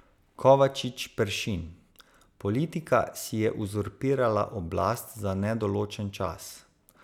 Kovačič Peršin: 'Politika si je uzurpirala oblast za nedoločen čas.